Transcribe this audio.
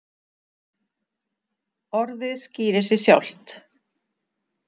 Orðið skýrir sig sjálft.